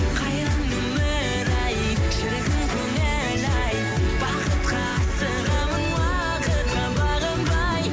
қайран өмір ай шіркін көңіл ай бақытқа асығамын уақытқа бағынбай